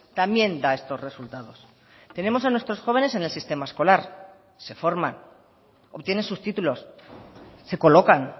también da estos resultados tenemos a nuestros jóvenes en el sistema escolar se forman obtienen sus títulos se colocan